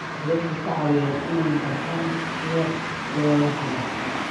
Waxay dadka ka caawiyaan inay bartaan sida loo wada xidhiidho.